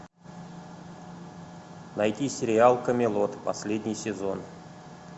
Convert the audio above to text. найти сериал камелот последний сезон